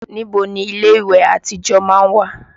Níbo ni ilé ìwẹ̀ àtijọ́ má ń wà?